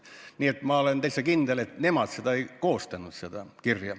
Nii et ma olen täiesti kindel, et nemad seda kirja ei koostanud.